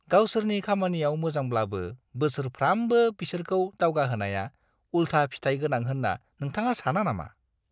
गावसोरनि खामानियाव मोजांब्लाबो बोसोरफ्रामबो बिसोरखौ दावगाहोनाया उलथा फिथाय गोनां होन्ना नोंथाङा साना नामा?